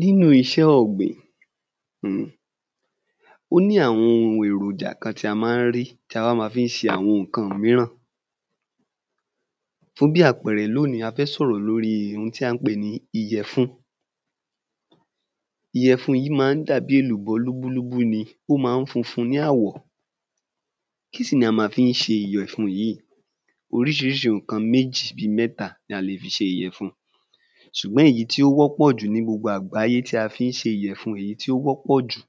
Nínú iṣẹ ọ̀gbìn ó ní àwọn ohun èròjà kan ta má ń rí ta wá ma fí ń ṣe ǹkan míràn fún bí àpẹẹrẹ lóní a fẹ́ sọ̀rọ̀ lórí hun tí à ń pè ní ìyẹ̀fun ìyẹ̀fun yí ma ń dabí èlùbọ́ lúbúlúbú ni ó ma ń funfun ní àwọ̀ kí sì la ma fí ń ṣe ìyẹ̀fun yí oríṣiŕiṣi ǹkan bí méjì sí mẹ́ta ni a le fi ṣe ìyẹ̀fun ṣùgbọ́n èyí tí ó wọ́pọ̀ jù ni gbogbo àgbáyé tí a fí ń ṣe ìyẹ̀fun yí ti ó wọ́pọ̀ jù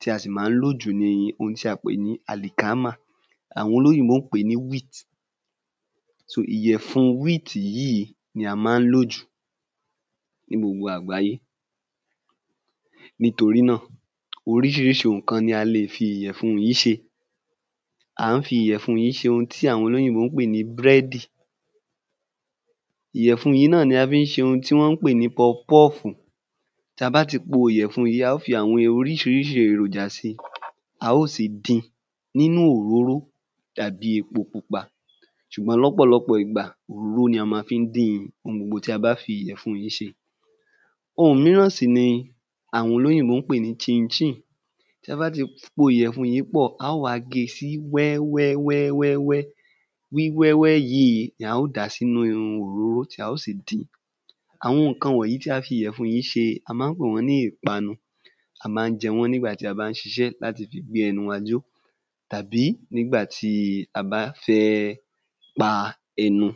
tí a sì má ń lò jù ni ohun ti à pè ní àlìkámà àwọn olóyìnbó ń pè ní ‘wheat’ sò ìyẹ̀fun wíìtì yí ni a má ń lò jù ni gbogbo àgbáyé nítorí náà oríṣiŕiṣi ǹkan ni a le fi ìyẹ̀fun yí ṣe à ń fi ìyẹ̀fun yí ṣe ohun tí à ń pè ní búrẹ́dì ìyẹ̀fun yí náà ni a fi ń ṣe ohun tí wọ́n pè ní pọfpọ́ọ̀fù ta bá ti po ìyẹ̀fun a ó fi àwọn oríṣiŕiṣi èròjà si a ó sì din nínú òróró dàbí epo pupa ṣùgbọ́n lọ́pọ̀lọpọ̀ ìgbà òróró ni a ma fí ń dín-in ohun gbogbo tí a bá fi ìyẹ̀fun yí ṣe ohun míràn sì ni àwọn olóyìnbó ń pè ní ṣin-in ṣín-ìn tẹ bá ti po ìyẹ̀fun yí pọ̀ a ó wá ge sí wẹ́wẹ́ wẹ́wẹ́ wẹ́ wíwẹ́wẹ́ yìí ni a ó dà sínu òróró tí a ó sì din àwọn ǹkan wọ̀nyoí ti à fi ìyẹ̀fun yí ṣe a má ń pè wọ́n ní ìpanu a má ń jẹ wọ́n nígbà ti a bá ń ṣiṣẹ́ láti fi gbé ẹnu wa jọ́ tàbí nígbà ti a bá fẹ́ pa ẹnu